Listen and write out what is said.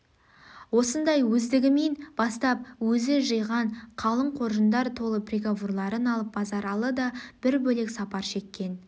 осындай өздігімен бастап өзі жиған қалың қоржындар толы приговорларын алып базаралы да бір бөлек сапар шеккен